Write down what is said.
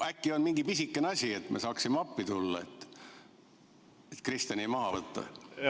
Äkki on mingi pisike asi, et me saaksime appi tulla, Kristiani maha võtta?